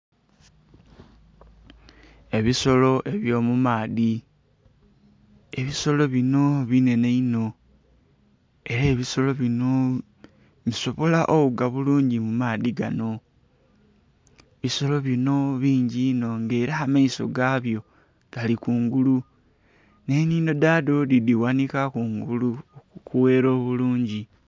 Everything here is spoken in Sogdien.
Ebisolo ebyomumaadhi ebisolo bino binhenhe inho era ebisolo bino bisobolo oghuga bulungi mumaadhi gano, ebisolo bino bingi inho nga era amaiso gabyo gali kungulu n'enhindho dhadho dhiboneka kungulu okughera bulungi.